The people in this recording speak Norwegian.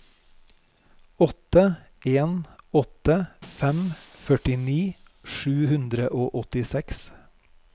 åtte en åtte fem førtini sju hundre og åttiseks